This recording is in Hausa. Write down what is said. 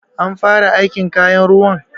An fara aikin kayan ruwan?